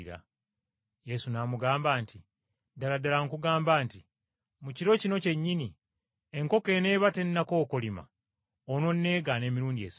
Yesu n’amugamba nti, “Ddala ddala nkugamba nti, Mu kiro kino kyennyini enkoko eneeba tennakookolima, onooneegaana emirundi esatu.”